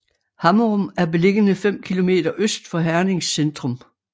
Hammerum er beliggende 5 kilometer øst for Hernings centrum